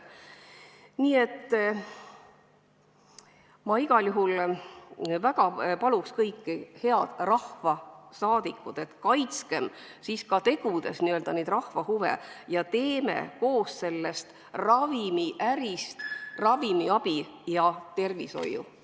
Igal juhul ma väga palun teid kõiki, head rahvasaadikud, et kaitskem ka tegudes neid n-ö rahva huve ning tehkem koos sellest ravimiärist ravimiabi ja tervishoiu.